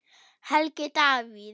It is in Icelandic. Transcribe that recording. Helgi Davíð.